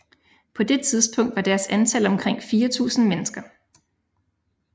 På det tidspunkt var deres antal omkring 4000 mennesker